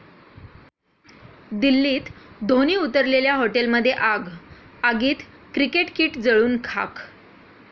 दिल्लीत धोनी उतरलेल्या हॉटेलमध्ये आग, आगीत क्रिकेट किट जळून खाक